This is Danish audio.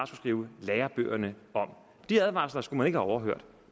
skrive lærebøgerne om de advarsler skulle man overhørt